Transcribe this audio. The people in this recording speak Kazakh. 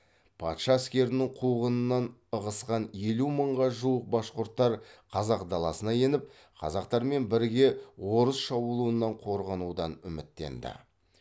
патша әскерінің қуғынынан ығысқан елу мыңға жуық башқұрттар қазақ даласына еніп қазақтармен біріге орыс шабуылынан қорғанудан үміттенді